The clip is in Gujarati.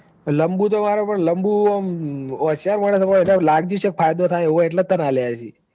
લંબુ તો માર પણ લંબુ હોશિયાર મોણસ હ એન લાગ્યું જ હશે કે ફાયદો થાય એવું સે એટલે જ તન આલ્યા હસી.